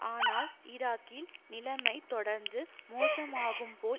ஆனால் ஈராக்கில் நிலைமை தொடர்ந்து மோசமாகும்போல்